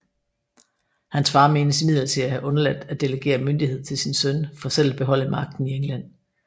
Hans far menes imidlertid at have undladt at delegere myndighed til sin søn for selv at beholde magten i England